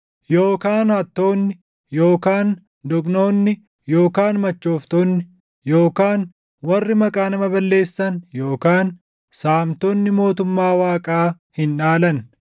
yookaan hattoonni yookaan doqnoonni yookaan machooftonni yookaan warri maqaa nama balleessan yookaan saamtonni mootummaa Waaqaa hin dhaalan.